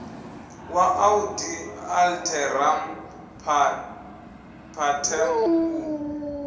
wa audi alteram partem u